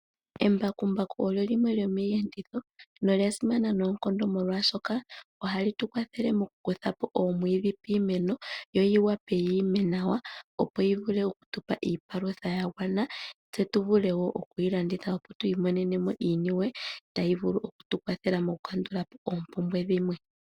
Embakumbaku olo limwe lyomiiyenditho nolya simana noonkondo molwaashoka ohali tu kwathele okukutha po oomwiidhi piimeno yo yi wape yiime nawa opo yi vule oku tu pa iipalutha ya gwana, tse tuvule wo okuyi landitha opo twii monene mo iiniwe tayi vulu oku tu kwathela mokukandula po oompumbwe dhimwe.